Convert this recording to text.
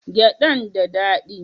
Gyadan da dadi?